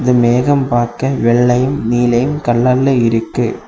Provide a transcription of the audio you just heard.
இந்த மேகம் பார்க்க வெள்ளையும் நீலையும் கல்லல்ல இருக்கு.